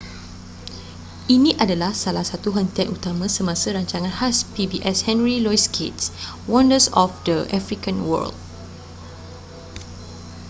ini adalah salah satu hentian utama semasa rancangan khas pbs henry louis gates wonders of the african world